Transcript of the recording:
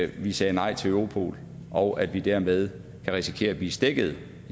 vi sagde nej til europol og at vi dermed kan risikere at blive stækket